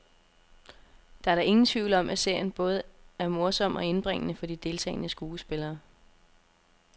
Der er da ingen tvivl om, at serien er både morsom og indbringende for de deltagende skuespillere.